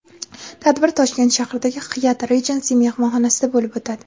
Tadbir Toshkent shahridagi Hyatt Regency mehmonxonasida bo‘lib o‘tadi.